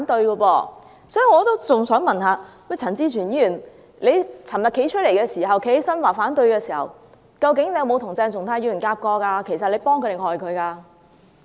因此，我也想問陳志全議員昨天提出反對時，究竟有否與鄭松泰議員配合過，其實是幫他，還是害他？